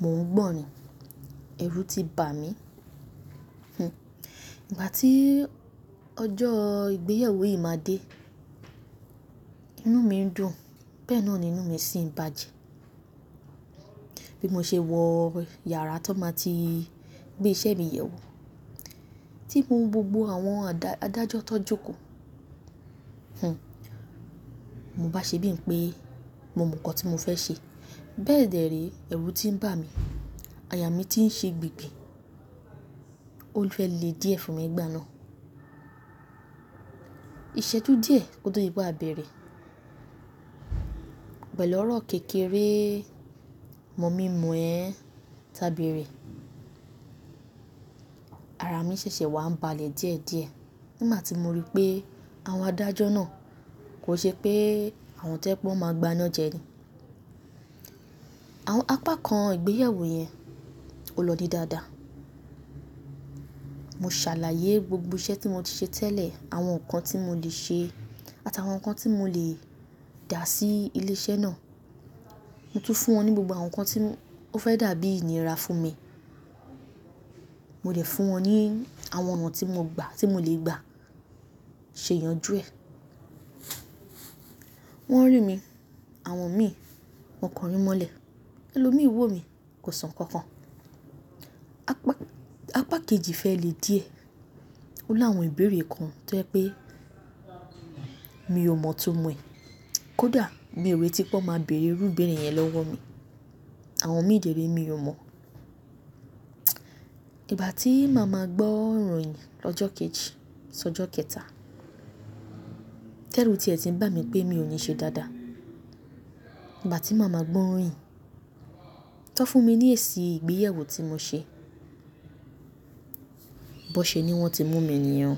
mò ń gbọ̀n ni, ẹrú ti bà mí. Hmm. Ìgbà tí ọjọ́ ìgbéyàwó yìí máa dé, inú mi ń dùn, bẹ́ẹ̀ náà ni inú mi sì ń bàjẹ́ bí mo ṣe wọ yàrá tó máa ti gbé iṣẹ́ mi yẹ̀ wò, tí mo ń gbogbo àwọn adájọ́ tó jókòó. Mo bá ṣe bí i pé mo mọ nǹkan tí mo fẹ́ ṣe. Bẹ́ẹ̀dẹ̀ re ẹrú ti ń bà mí, àyà mí ti ń ṣe gbigbi. Ó fẹ lẹ́ dìẹ fún mi gbá ná. Ìṣẹ́jú díẹ̀ kó tó di pe abẹ̀rẹ̀. Pẹ̀lú ọ̀rọ̀ kékeré, mọ̀-mi-mọ̀-ẹ́ ẹ ń tábẹ́rẹ́. Ara mi ṣẹ̀ṣẹ̀ wá ń balẹ̀ díẹ̀díẹ̀ nígbà tí mo rí pé àwọn adájọ́ náà kò ṣe pé àwọn tojẹ pe wọn máa gbá iná jẹ ni. Àwọn apá kan ìgbéyẹwó yẹn ò lọ dí dáadáa. Mo ṣàlàyé gbogbo iṣẹ́ tí mo ti ṣe tẹ́lẹ̀, àwọn nǹkan tí mo lè ṣe àtàwọn nǹkan tí mo lè dà sí ilé iṣẹ́ náà. Mo tún fún wọn ní gbogbo àwọn nǹkan tí ó fẹ́ dàbí ìníra fún mi. Mo dẹ̀ fún wọn ní àwọn ọ̀nà tí mo gbà tí mo lè gbà ṣe ìyanjú ẹ̀. Wọ́n rí mi, àwọn mi, wọ́n kọrin mọ́lẹ̀. Ẹ̀lòmíràn wò mí, kò sọ nǹkan kan. Apá kejì fẹ́ le díẹ̀. Ó láwọn ìbéèrè kan tó jẹ́ pé mi ò mọ̀ itumọ̀ ẹ. Kódà mi ò rètí pé wọ́n máa bèèrè irú ìbéèrè yẹn lọ́wọ́ mi. Àwọn mi dèré mi ò mọ̀. Ìgbà tí màá ma gbọ́ ìròyìn lọ́jọ́ kejì sí ọjọ́ kẹta, tẹ́rù tí ẹ ti ń bà mí pé mi ò ní ṣe dáadáa. Ìgbà tí màá ma gbọ́ ìròyìn tọ fún mi ní èsì ìgbéyàwó tí mo ṣe, bó ṣe ni wọ́n ti mú mi nìyẹn.